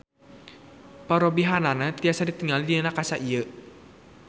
Parobihanana tiasa ditingali dina kaca ieu.